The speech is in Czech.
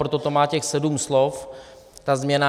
Proto to má těch sedm slov, ta změna.